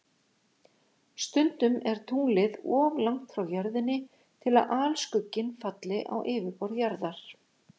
Stundum er tunglið of langt frá Jörðinni til að alskugginn falli á yfirborð Jarðar.